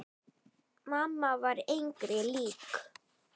Mamma var engri lík.